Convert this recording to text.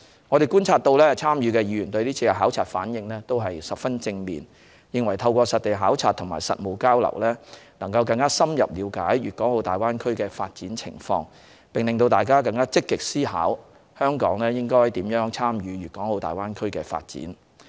我們觀察所得，參與的議員對是次考察反應都十分正面，認為透過實地考察和實務交流，能更深入了解大灣區的發展情況，並使大家更積極思考香港應如何參與大灣區的發展。